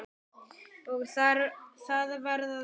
Og það var að hlæja.